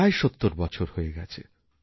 প্রায় ৭০ বছর হয়ে গেছে